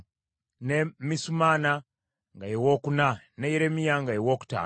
ne Misumanna nga ye wookuna, ne Yeremiya nga ye wookutaano,